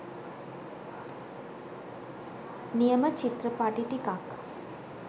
නියම චිත්‍රපටි ටිකක්